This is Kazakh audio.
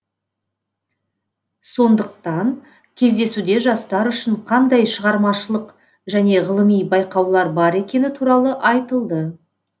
сондықтан кездесуде жастар үшін қандай шығармашылық және ғылыми байқаулар бар екені туралы айтылды